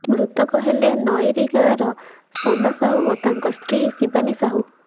ମୃତକ ହେଲେ ନଈରୀ ଗାଁର ସନା ସାହୁ ଓ ତାଙ୍କ ସ୍ତ୍ରୀ ଶିବାନୀ ସାହୁ